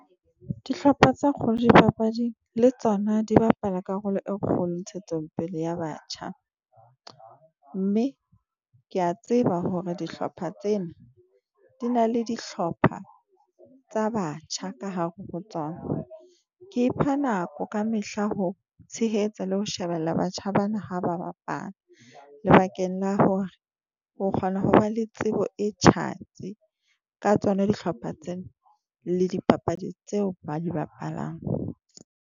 Dihlopha tse kgolo dipapading le tsona di bapala karolo e kgolo ntshetsopele ya batjha. Mme ke a tseba hore dihlopha tsena di na le dihlopha tsa batjha ka hare ho tsona. Ke ipha nako ka mehla ho tshehetsa le ho shebella batjha ba na ha ba bapala lebakeng la hore o kgona ho ba le tsebo e tjhatsi ka tsona dihlopha tsena le dipapadi tseo ba di bapalang.